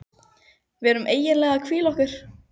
Við erum eiginlega að hvíla okkur.